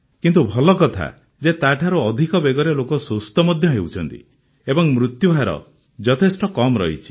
କିନ୍ତୁ ଭଲ କଥା ଯେ ତାଠାରୁ ଅଧିକ ବେଗରେ ଲୋକେ ସୁସ୍ଥ ମଧ୍ୟ ହେଉଛନ୍ତି ଏବଂ ମୃତ୍ୟୁହାର ଯଥେଷ୍ଟ କମ ରହିଛି